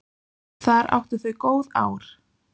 Þar áttu þau góð ár.